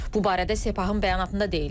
Bu barədə Sepahın bəyanatında deyilir.